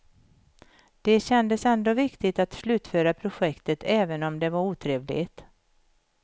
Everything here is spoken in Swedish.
Det kändes ändå viktigt att slutföra projektet, även om det var otrevligt.